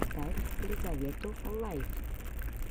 поставь лизавету лайф